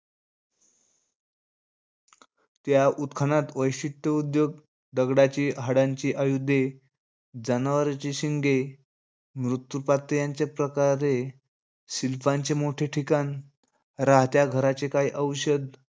त्या उत्खनात वैशिष्ट्य उद्योग दगडाची, हाडांची आयुधे, जनावराची शिंगे, मृत्यूपातीयांच्या प्रकारे शिल्पांचे मोठे ठिकाण, राहत्या घराचे काही अवशेष,